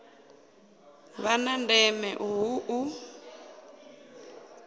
vha na ndeme hu u